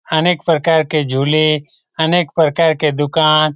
अनेक प्रकार के झूले अनेक प्रकार के दुकान --